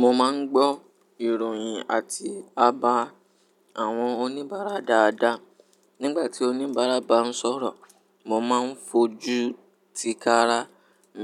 Mo máa ń gbọ́ ìròyìn àti àbá àwọn oníbàárà dáadáa. Nígbà tí oníbàárà bá ń sọ̀rọ̀, mo máa ń fojú ti kara,